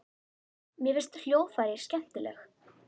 Mér finnst hljóðfræði skemmtileg.